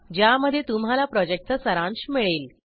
ज्यामध्ये तुम्हाला प्रॉजेक्टचा सारांश मिळेल